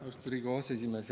Austatud Riigikogu aseesimees!